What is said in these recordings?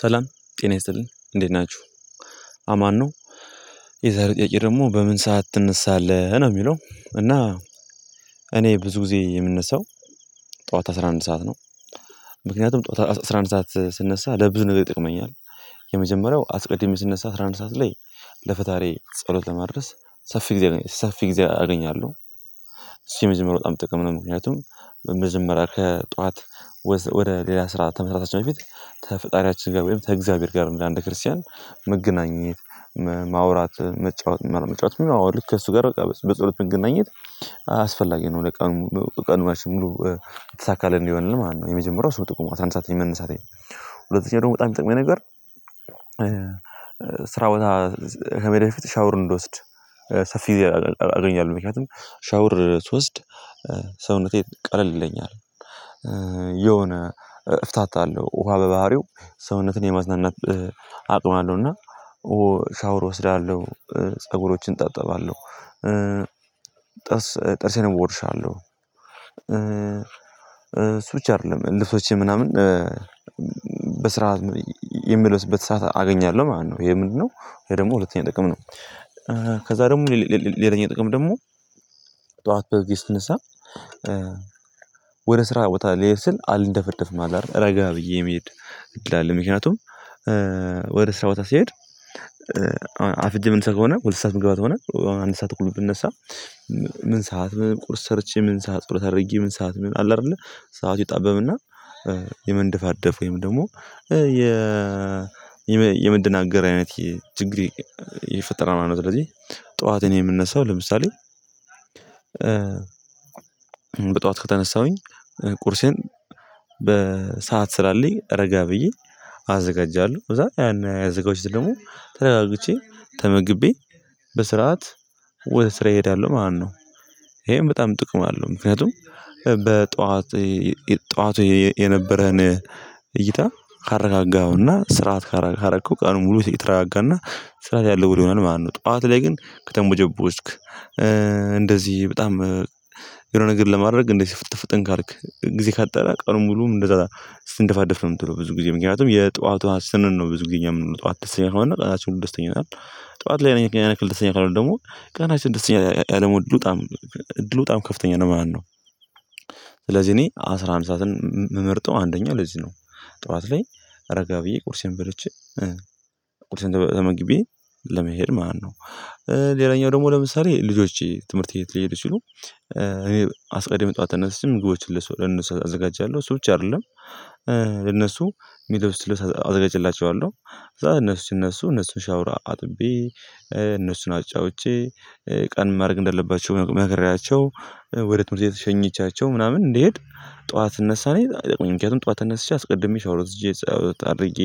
ሰላም ጤና ይስጥልን እንዴት ናችሁ አማን ነው የዛሬው ጥያቄ ደግሞ በምን ሰዓት ትነሳለህ ነው የሚለው? እና እኔ ብዙ ጊዜ የምነሳው ጠዋት አስራ አንድ ሰዓት ነው። ምክንያቱም ጠዋት አስራ አንድ ሰዓት ስነሳ ለብዙ ነገር ይጠቅመኛል የመጀመሪያው አስቀድሜ ስነሳ አስራ አንድ ሰዓት ላይ ለፈጣሪዬ ጸሎት ለማድረስ ሰፊ ጊዜ ሰፊ ጊዜ አገኛለሁ። እሱ የመጀመርያ በጣም ጥቅም ነው። ምክንያቱም መጀመረያ ከጧት ወደ ሌላ ስራ ተመስራታችን በፊት ከፈጣሪያችን ጋር ወይም ከእግዚአብሔር ጋር እንደ አንድ ክርስቲያን መገናኘት ማውራት መጫወት መጫወት ከእሱ ጋር በቃ በጸሎት መገናኘት አስፈላጊ ነው። ለቀን ዉሎ ቀናችን ሙሉ የተሳካለት እንዲሆልን ማለት ነው። የመጀመሪያው እሱ ነው ጥቁሙ አስራ አንድ መንሳተኝ። ሁለተኛ ደግሞ በጣም የሚጠቅመኝ ነገር። ስራ ቦታ ከመሄዴ በፊት ሻውር እንድወስድ ሰፊ ጊዜ አገኛለሁ ምክንያቱም ሻውር ስወስድ ሰውነቴ ቀለል ይለኛል። የሆነ እፍታታለሁ ውሃ በባህሪው ሰውነትን የማዝናናት አቅም አለው። እና ሻወር እወስዳለሁ ፀጉሮችን እታጠባለሁ። ጥርስ ጥርሴን እቦርሻለው። እሱ ብቻ አይደለም ልብሶቼ ምናምን በስራአት የምለብስበት ሰዓት አገኛለሁ ማለት ነው። ይሄ ምንድነው? ይሄ ደግሞ ሁለተኛ ጥቅም ነው። ከዛ ደግሞ ሌላኛው ጥቅም ደግሞ ጠዋት በጊዜ ስትንሳ ወደ ስራ ቦታ ልሄድ ስል አልንደፈደፍም ረጋ ብዬ መሄድ እድል አለ። ምክንያቱም ወደ ስራ ቦታ ሲሄድ አርፍጄ የምንሳ ከሆነ ሁለት ሰዓት ምግባ ከሆነ አሁን አንድ ሰዓት ተኩል ብነሳ። ምን ሰዓት ቁርስ ሰርቼ ምን ሰዓት ቁርስ አድርጌ ምን ሰዓት ምን አለ አይደለ ሰዓቱ ይጣበብና የመንደፋደፍ ወይም ደግሞ የ የመደናገር አይነት ችግሬ የፈጠራል ማለት ነው። ስለዚህ ጠዋትን የምንነሳው ለምሳሌ። በጧት ከተነሳሁኝ ቁርሴን በሰአት ስላለኝ ረጋ ብዬ አዘጋጃለሁ እዛ ያን ያዘጋጃሁትን ደግሞ ተረጋግቼ ተመግቤ በስርዓት ስራዬ ሄዳለሁ ማለት ነው። ይሄም በጣም ጥቅም አለው ምክንያቱም በጠዋት ጠዋት የነበረን እይታ ካረጋጋሀውና ስርዓት ካረከው ቀኑን ሙሉ የተረጋጋና ስርዓት ያለው ወሎ ይሆናል ማለት ነው። ጠዋት ላይ ግን ከተቦጀቦጅክ እንደዚህ በጣም የሆነ ነገር ለማድረግ እንደዚህ ፍጥን ፍጥን ካልክ ጊዜ ካጠረ ቀኑን ሙሉ እንደዛ ስትነፋደፍ ነው የምትለው ብዙ ጊዜ ምክንያቱም የጧዋቱ ስንል ነው ብዙ ጊዜ የምንወጣው ጧዋት ደስተኛ ከሆነ ቀናችን ደስተኛ ይሆናል። ጠዋት ላይ አንድ የን አክል ደስ ይለኛል አሁን ደግሞ ቀናችን ደስ ይለመሆን እድሉ በጣም እድሉ በጣም ከፍተኛ ነው ማለት ነው። እኔ አስራ አንድ ሰዓትን መምርጠው አንደኛው ለዚህ ነው። ጠዋት ላይ ረጋ ብዬ ቁርሴን በልቼ ቁርሴን ተመግቤ ለመሄድ ማነው? ሌላኛው ደግሞ ለምሳሌ ልጆቼ ትምህርት ቤት ሊሄዱ ሲሉ እኔ አስቀድሜ ጠዋት ተነስቼ ምግቦችን ለነሱው ለእነሱ አዘጋጃለሁ እሱ ብቻ አይደለም። ለነሱ የሚለብሱትን ልብስ አዘጋጅቼላቸዋለሁ። እዛ እነሱ ሲነሱ እነሱን ሻውራ አጥቤ እነሱን አጫውቼ ቀን ማድረግ እንደለባቸው መክሪያቸው ወደ ትምህርት ሸኘቻቸው ምናምን እንድሄድ ጠዋት ስነሳ እኔ በጣም ጠቅሞኛል ምክንያቱም ጠዋት ተነስቼ አስቀድሜ ሻወር ወስጄ ጸሎት አድርጌ።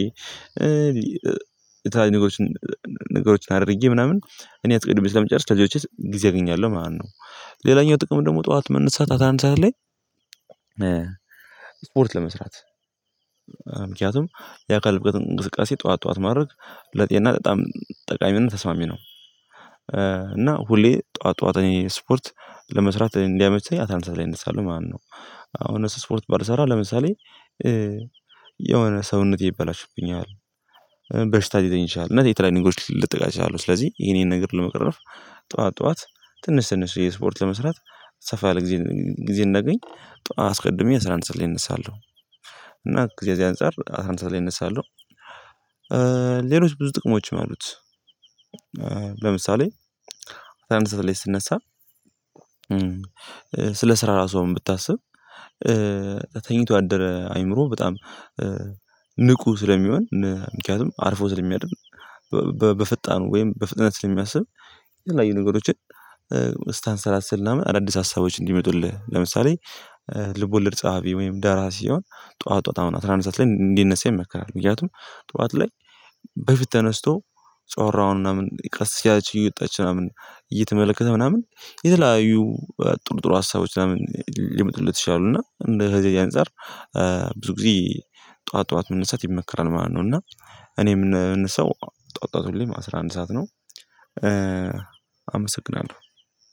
የተለያዩ ነገሮችን አድርጌ ምናምን እኔ አትቅድሜ ስለምጨርስ ከልጆቼ ጊዜ አገኛለሁ ማነው። ሌላኛው ጥቅም ደግሞ ጠዋት መነሳት አስራአንድ ሰዓት ላይ ስፖርት ለመስራት ምክንያቱም የአካል ብቃት እንቅስቃሴ ጠዋት ጠዋት ማድረግ ለጤና በጣም ጠቃሚ እና ተስማሚ ነው። እና ሁሌ ጠዋት ጠዋተ እኔ ስፖርት ለመስራት እንዲያመቸኝ አስራአንድ ሰዓት ላይ እነሳለሁ ማለት ነው። አሁን ስፖርት ባልሰራ ለምሳሌ የሆነ ሰውነቴ ይበላሽብኛል። በሽታ ሊይዘኝ ይችላል እነዚህ የተለያዩ ነገሮች ልጠቃ እችኋለሁ አሉ ስለዚህ ይሄን ነገር ለመቅረፍ ጠዋት ጠዋት ትንሽ ትንሽ የስፖርት ለመስራት ሰፋ ያለ ጊዜ ጊዜ እናገኝ። ጠዋት አስቀድሜ አስራ አንድ ሰዓት ላይ እነሳለሁ። እና ከዚህ በዚህ አንፃር አስራ አንድ ሰዓት ላይ እነሳለሁ። ሌሎች ብዙ ጥቅሞችም አሉት። ለምሳሌ አስራአንድ ሰዓት ላይ ስነሳ ስለ ስራ ራሱ አሁን ብታስብ። ተኝቶ ያደረ አአምሮ በጣም ንቁ ስለሚሆን ምክንያቱም አርፎ ስለሚያድን በፍጣኑ ወይም በፍጥነት ስለሚያስብ። የተለያዩ ነገሮችን ስታንሰላስል ምናምን አዳዲስ ሀሳቦች እንዲመጡልህ ለምሳሌ። ልቦለድ ፀሀፊ ወይም ደራሲ የሆነ ጠዋት ጠዋት አሁን አስራአንድ ሰዓት ላይ እንዲነሳ ይመክራል ምክንያቱም ጠዋት ላይ በፊት ተነስቶ ጮራውን ምናምን ቀስ እያለች እየወጣች ምናምን እየተመለከተ ምናምን የተለያዩ ጥሩ ጥሩ ሀሳቦች ምናምን ሊምጡለት ይችላሉ። እና እንደ ከዚህ ያንፃር ብዙ ጊዜ ጠዋት ጠዋት መነሳት ይመከራል ማለት ነው። እና እኔ ምነሳ ጠዋት ሁሌም አስራ አንድ ሰዓት ነው። አመሰግናለሁ።